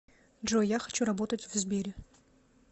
джой я хочу работать в сбере